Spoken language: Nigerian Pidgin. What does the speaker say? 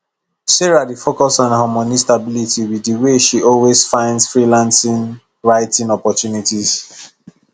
sarah dey focus on her money stability with the way she always find freelancing writing opportunities